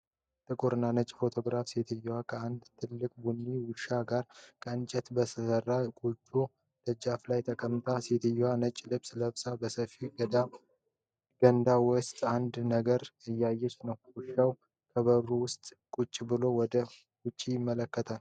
ጥቁር እና ነጭ ፎቶግራፉ ሴትዮዋ ከአንድ ትልቅ ቡኒ ውሻ ጋር ከእንጨት በተሰራ ጎጆ ደጃፍ ላይ ተቀምጣለች። ሴትዮዋ ነጭ ልብስ ለብሳ፣ በሰፊ ገንዳ ውስጥ አንድ ነገር እየሰራች ነው። ውሻው ከበሩ ውስጥ ቁጭ ብሎ ወደ ውጭ ይመለከታል።